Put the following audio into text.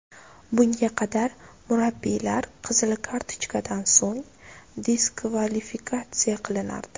Bunga qadar murabbiylar qizil kartochkadan so‘ng diskvalifikatsiya qilinardi.